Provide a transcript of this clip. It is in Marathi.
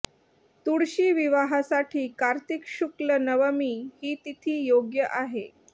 तुळशी विवाहासाठी कार्तिक शुक्ल नवमी ही तिथी योग्य आहे